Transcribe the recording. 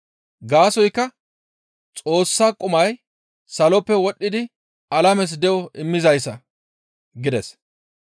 Gaasoykka Xoossa qumay saloppe wodhdhidi alames de7o immizayssa» gides.